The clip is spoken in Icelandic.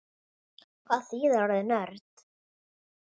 Hvað þýðir orðið nörd?